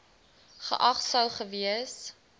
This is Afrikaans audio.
geag sou gewees